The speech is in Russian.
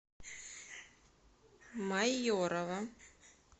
майорова